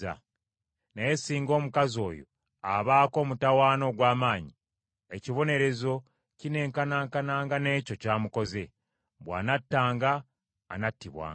Naye singa omukazi oyo abaako omutawaana ogw’amaanyi, ekibonerezo kineenkanaakananga n’ekyo ky’amukoze. Bw’anattanga anattibwanga,